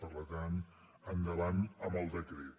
per tant endavant amb el decret